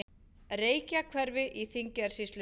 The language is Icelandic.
Reykjahverfi í Þingeyjarsýslu.